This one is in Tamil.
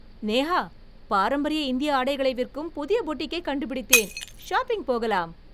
நேஹா, பாரம்பரிய இந்திய ஆடைகளை விற்கும் புதிய பூட்டிக்கைக் கண்டுபிடித்தேன், ஷாப்பிங் போகலாம்.